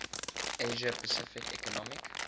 asia pacific economic